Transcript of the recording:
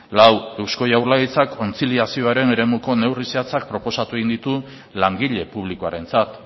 lau eusko jaurlaritzak kontziliazioaren eremuko neurri zehatzak proposatu egin ditu langile publikoarentzat